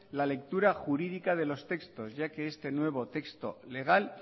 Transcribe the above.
la lectura jurídica de los textos ya que este nuevo texto legal